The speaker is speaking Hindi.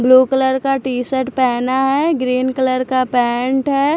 ब्लू कलर का टी-शर्ट पहना है ग्रीन कलर का पैंट है।